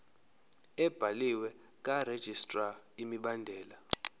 ebhaliwe karegistrar imibandela